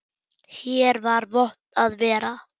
Hér var vont að vera.